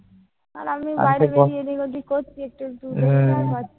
আর আমি বাইরে বেরিয়ে এদিকওদিক করছি একটু একটু দেখতে আর